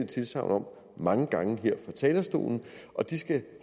tilsagn om mange gange her fra talerstolen og de skal